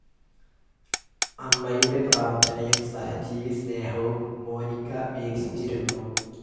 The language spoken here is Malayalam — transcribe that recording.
അമ്മയുടെ പ്രാർഥനയും സഹജീവിസ്നേഹവും മോനിക്ക വീക്ഷിച്ചിരുന്നു.